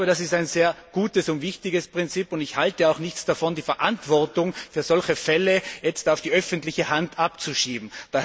Ich glaube, das ist ein sehr gutes und wichtiges Prinzip, und ich halte nichts davon, die Verantwortung für solche Fälle auf die öffentliche Hand abzuschieben.